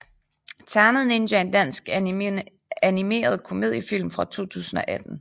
Ternet Ninja er en dansk animeret komediefilm fra 2018